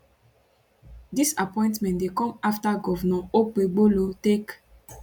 dis appointment dey come afta govnor okpebholo take